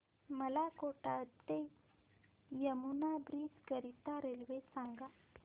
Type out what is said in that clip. मला कोटा ते यमुना ब्रिज करीता रेल्वे सांगा